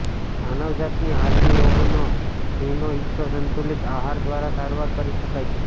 માનવજાતની હાલની રોગોનો સિંહનો હિસ્સો સંતુલિત આહાર દ્વારા સારવાર કરી શકાય છે